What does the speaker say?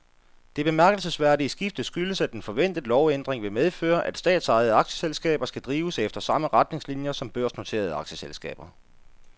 Det bemærkelsesværdige skifte skyldes, at en forventet lovændring vil medføre, at statsejede aktieselskaber skal drives efter samme retningslinier som børsnoterede aktieselskaber.